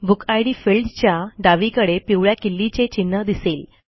book id फिल्डच्या डावीकडे पिवळ्या किल्लीचे चिन्ह दिसेल